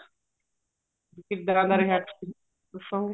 ਕਿੱਦਾਂ ਦਾ ਰਿਹਾ experience ਦੱਸੋਗੇ